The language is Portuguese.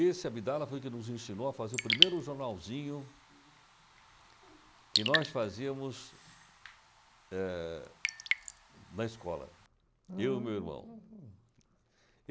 esse Abdala, foi quem nos ensinou a fazer o primeiro jornalzinho que nós fazíamos, eh, na escola, eu e meu irmão.